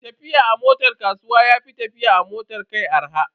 Tafiya a motar kasuwa ya fi tafiya a motar kai arha.